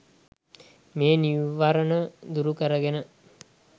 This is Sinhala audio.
මේ නීවරණ දුරු කරගෙන